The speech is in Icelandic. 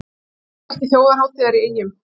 Nýtt merki þjóðhátíðar í Eyjum